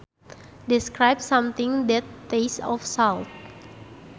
Describes something that tastes of salt